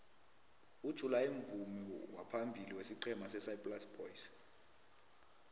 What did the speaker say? ujuly mvumi waphambili wesiqhema sesaplasi boys